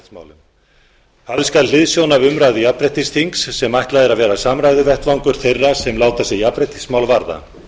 jafnréttismál höfð skal hliðsjón af umræðu jafnréttisþings sem ætlað er að vera samræðuvettvangur þeirra sem láta sig jafnréttismál varða